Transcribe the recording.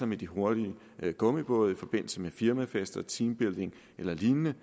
med de hurtige gummibåde i forbindelse med firmafester teambuilding eller lignende